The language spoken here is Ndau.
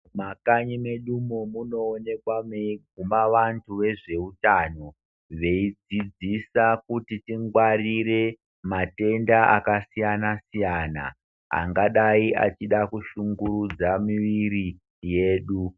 Mumakanyi mwedu umwo munoonekwa mweiguma vantu vezveutano veidzidzisa kuti tingwarire matenda akasiyana siyana angadayi echida kushungurudza miviri yedu.